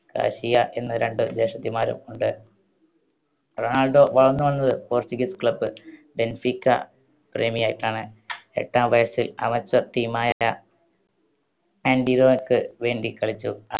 Cassia എന്ന രണ്ട് ജ്യേഷ്ഠത്തിമാരും ഉണ്ട്. റൊണാൾഡോ വളർന്നു വന്നത് Portuguese club ബെൻഫീക്ക പ്രേമിയായിട്ടാണ്. എട്ടാം വയസ്സിൽ amateur team ആയ ആന്‍റിയോക്ക് വേണ്ടി കളിച്ചു.